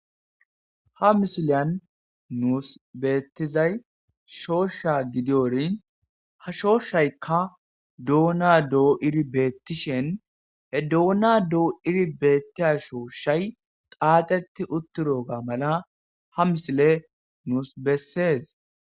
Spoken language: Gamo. Ha misileyan nuus beettizay shoosha gidiorin ha shooshaykka doona doo iri beettishen he duona doo iri beettia shooshay qaaxeti utturoga mala ha misile nuus bessees